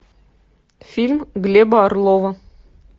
фильм глеба орлова